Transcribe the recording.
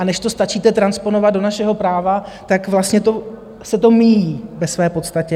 A než to stačíte transponovat do našeho práva, tak vlastně se to míjí ve své podstatě.